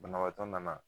Banabaatɔ nana